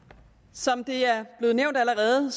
som det er blevet nævnt allerede